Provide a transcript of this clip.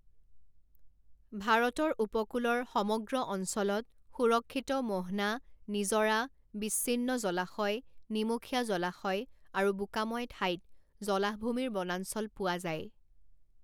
ভাৰতৰ উপকূলৰ সমগ্ৰ অঞ্চলত সুৰক্ষিত মোহনা, নিজৰা, বিচ্ছিন্ন জলাশয়, নিমখীয়া জলাশয় আৰু বোকাময় ঠাইত জলাহভূমিৰ বনাঞ্চল পোৱা যায়।